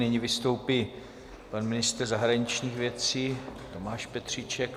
Nyní vystoupí pan ministr zahraničních věcí Tomáš Petříček.